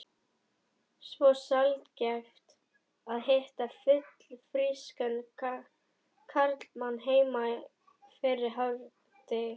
Svo sjaldgæft að hitta fullfrískan karlmann heima fyrir hádegi.